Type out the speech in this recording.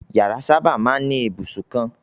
Ìyàrá sábà máa ń ní ibùsùn kan.